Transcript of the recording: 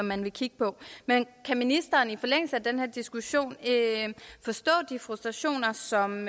man vil kigge på men kan ministeren i forlængelse af den her diskussion forstå de frustrationer som